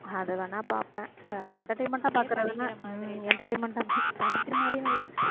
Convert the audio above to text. அதை வேணா பாப்பேன் வேற entertainment ஆ பாக்குறதில்ல entertainment ஆ படிக்கிற மாதிரியும் இல்லை